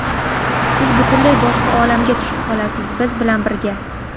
siz butunlay boshqa olamga tushib qolasiz biz bilan birga.